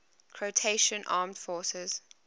croatian armed forces